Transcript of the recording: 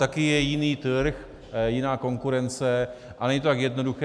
Také je jiný trh, jiná konkurence a není to tak jednoduché.